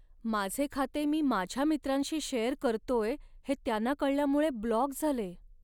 माझे खाते मी माझ्या मित्रांशी शेअर करतोय हे त्यांना कळल्यामुळे ब्लॉक झाले.